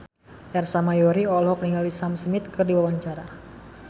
Ersa Mayori olohok ningali Sam Smith keur diwawancara